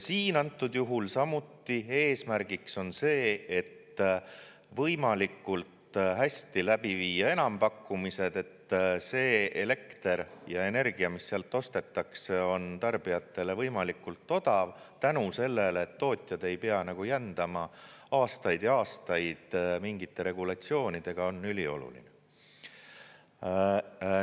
Siin antud juhul samuti eesmärgiks on see, et võimalikult hästi läbi viia enampakkumised, et see elekter ja energia, mis sealt ostetakse, on tarbijatele võimalikult odav tänu sellele, et tootjad ei pea jändama aastaid ja aastaid mingite regulatsioonidega, on ülioluline.